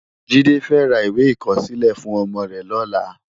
Jide fè rá iwé ikòsilè fún òmò rè lòlá